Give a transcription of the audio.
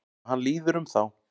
Og hann líður um þá.